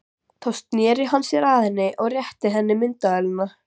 Jón Júlíus: Þú hefur ekkert borðað óhóflega mikið yfir jólahátíðina?